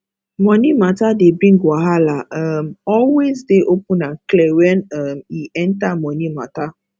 money matter dey bring wahala um always dey open and clear when um e enter money matter